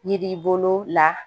Yiri bolo la